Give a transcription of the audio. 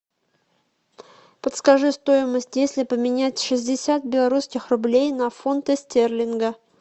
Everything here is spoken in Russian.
подскажи стоимость если поменять шестьдесят белорусских рублей на фунты стерлинга